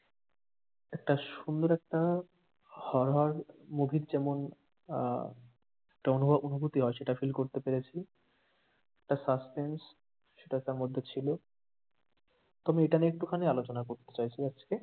একটা সুন্দর একটা horror movie র যেমন আহ একটা অনুভব অনুভূতি হয় সেটা feel করতে পেরেছি I একটা suspense সেটা তার মধ্যে ছিল, তো আমি এটা নিয়ে একটুখানি আলোচনা করতে চাইছি আজকে।